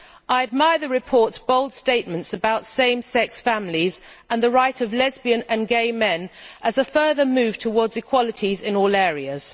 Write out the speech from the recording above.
I admire the report's bold statements about same sex families and the rights of lesbians and gay men as a further move towards equalities in all areas.